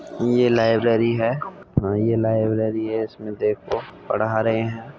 ये लाइब्रेरी है ह ये लाइब्रेरी है। इसमें देखो पढ़ा रहे हैं।